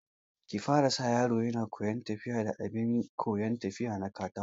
Ki fara sa yaron yana koyan tafiya da abin koyan tafiya na katako